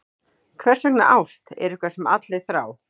Hversvegna ást er eitthvað sem allir þrá.